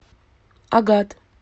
агат